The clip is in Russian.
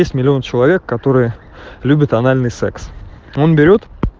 десять миллионов человек которые любят анальный секс он берет